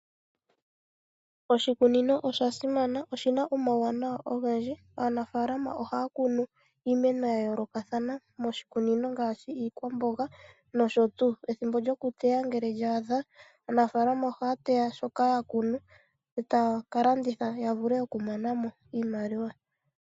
Oshikunino osha simana, oshi na omauwanawa ogendji. Aanafaalama ohaa kunu iimeno ya yoolokathana moshikunino ngaashi yiikwamboga nosho tuu. Ethimbo lyokuteya ngele lya adha, aanafaalama ohaa teya shoka ya kunu e taa ka landitha ya vule okumona mo iimaliwa.